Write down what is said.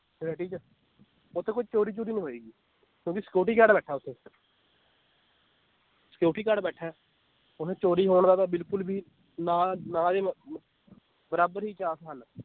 Society ਚ ਓਥੇ ਕੋਈ ਚੋਰੀ ਚੂਰੀ ਨੀ ਹੋਏਗੀ, ਕਿਉਂਕਿ security guard ਬੈਠਾ ਓਥੇ security guard ਬੈਠਾ ਏ ਓਥੇ ਚੋਰੀ ਹੋਣ ਦਾ ਤਾਂ ਬਿਲਕੁਲ ਵੀ ਨਾ ਨਾ ਦੇ ਮ ਮ ਬਰਾਬਰ ਹੀ chance ਹਨ l